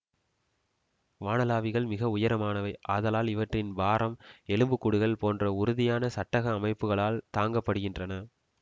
வானளாவிகள் மிக உயரமானவை ஆதலால் இவற்றின் பாரம் எலும்புக்கூடுகள் போன்ற உறுதியான சட்டக அமைப்புக்களால் தாங்கப் படுகின்றன